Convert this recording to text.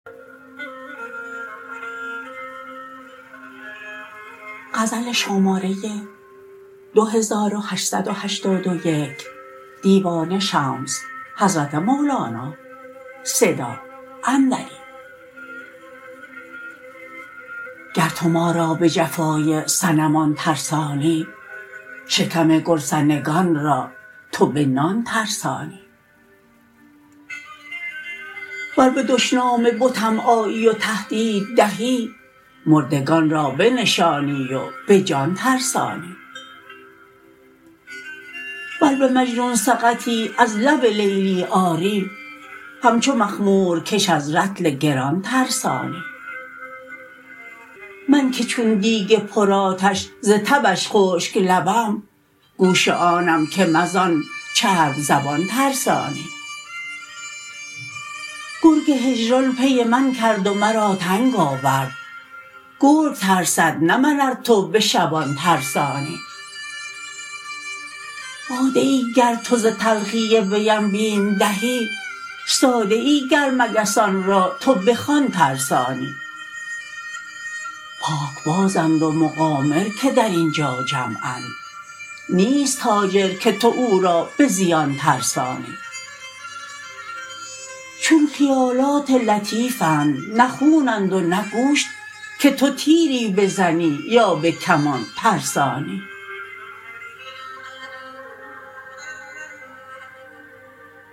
گر تو ما را به جفای صنمان ترسانی شکم گرسنگان را تو به نان ترسانی و به دشنام بتم آیی و تهدید دهی مردگان را بنشانی و به جان ترسانی ور به مجنون سقطی از لب لیلی آری همچو مخمورکش از رطل گران ترسانی من که چون دیگ بر آتش ز تبش خشک لبم گوش آنم کم از آن چرب زبان ترسانی گرگ هجران پی من کرد و مرا ننگ آورد گرگ ترسد نه من ار تو به شبان ترسانی باده ای گر تو ز تلخی ویم بیم دهی ساده ای گر مگسان را تو بخوان ترسانی پاکبازند و مقامر که در این جا جمعند نیست تاجر که تو او را به زیان ترسانی چون خیالات لطیفند نه خونند و نه گوشت که تو تیری بزنی یا به کمان ترسانی